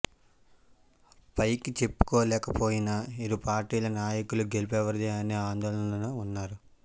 పైకి చెప్పుకోలేకపోయినా ఇరు పార్టీల నాయకులు గెలుపెవరిది అనే ఆందోళనలోనే ఉన్నారు